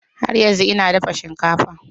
Har yanzu ina dafa shinkafa ta.